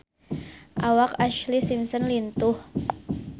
Awak Ashlee Simpson lintuh